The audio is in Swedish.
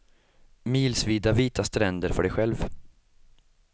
Milsvida vita stränder för dig själv.